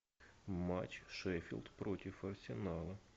матч шеффилд против арсенала